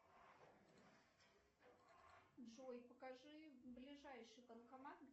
джой покажи ближайший банкомат